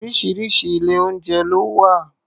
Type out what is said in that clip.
Oríṣiríṣi ilé-oúnjẹ ló wà